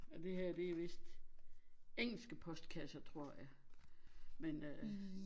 Og det her det vist engelske postkasser tror jeg men øh